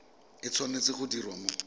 e tshwanetse go diriwa mo